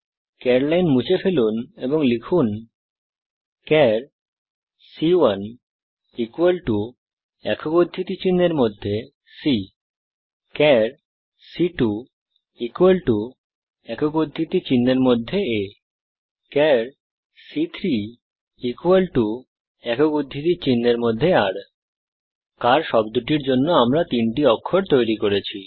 চার লাইন মুছে ফেলুন এবং লিখুন চার সি1 একক উদ্ধৃতিচিহ্নের মধ্যে c চার সি2 একক উদ্ধৃতিচিহ্নের মধ্যে a চার সি3 একক উদ্ধৃতিচিহ্নের মধ্যে r কার শব্দটির জন্য আমরা তিনটি অক্ষর তৈরি করেছি